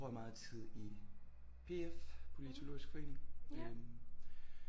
Bruger jeg meget tid i P F Politolorisk Forening